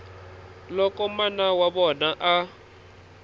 loko mana wa vona a